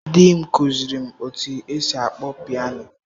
Di m kụziiri m otú e si akpọ piano.